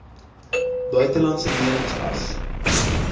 buitelandse lenings as